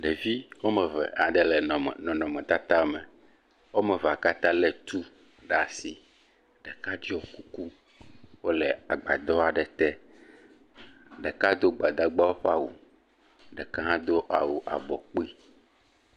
Ɖevi woame eve aɖe le nɔnɔme nɔnɔmetata me. Wo ame evea katã le etu ɖe asi. Ɖeka tso kuku wole agbadɔ aɖe te. Ɖeka do gbadagbawo ƒe awu. Ɖeka hã do awu abɔ kpui.